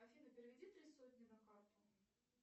афина переведи три сотни на карту